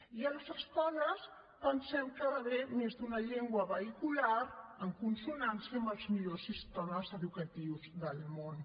i a les escoles pensem que hi ha d’haver més d’una llengua vehicular en consonància amb els millors sistemes educatius del món